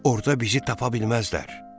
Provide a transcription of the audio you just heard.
Orda bizi tapa bilməzlər.